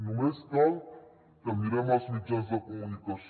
només cal que mirem els mitjans de comunicació